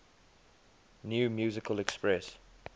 new musical express